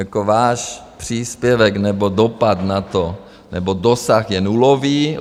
Jako váš příspěvek nebo dopad na to nebo dosah je nulový.